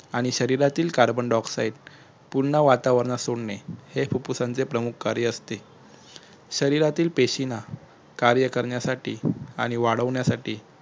आणि शरिरातील carbon dioxide पुर्ण वातावरणात सोडणे हे फुप्फुसासचे प्रमुख कार्य असते शरिरातील पेशींना कार्य करण्यासाठी आणि वाढवण्यासाठी